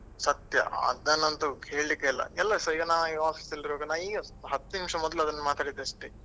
ಸತ್ಯ ಅದನ್ನಂತೂ ಹೇಳಿಕ್ಕೆ ಇಲ್ಲ ಎಲ್ಲಾಸ ಈಗ ನಾವು office ಅಲ್ಲಿ ಇರುವಾಗ ಈಗಷ್ಟೇ ಹತ್ತು ನಿಮಿಷ ಮೊದ್ಲು ಅದನ್ನು ಮಾತಾಡಿದಷ್ಟೇ.